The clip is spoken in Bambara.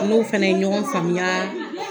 N n'o fana ye ɲɔgɔn faamuya